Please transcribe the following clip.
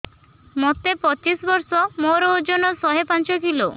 ମୋତେ ପଚିଶି ବର୍ଷ ମୋର ଓଜନ ଶହେ ପାଞ୍ଚ କିଲୋ